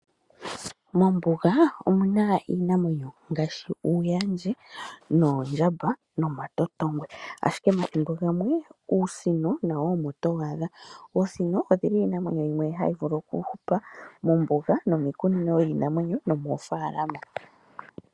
Mombuga omuna iinamwenyo ngaashi uuyandje, oondjamba nomatotongwe ashike omathimbo gamwe uusino omo towu adha. Oosino odhili dhomiinamwenyo yimwe mbyoka hayi vulu okuhupa moombuga nomiikunino yiinamwenyo nomoofalama.